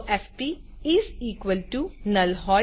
જો FP is equals to null